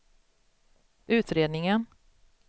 utredningen